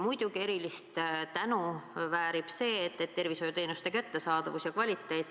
Muidugi väärib erilist tänu tervishoiuteenuste kättesaadavuse ja kvaliteedi parandamine.